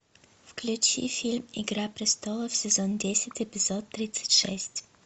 включи фильм игра престолов сезон десять эпизод тридцать шесть